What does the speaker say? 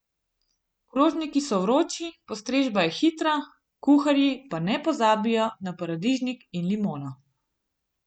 Krožniki so vroči, postrežba je hitra, kuharji pa ne pozabijo na paradižnik in limono.